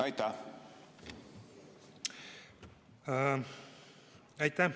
Aitäh!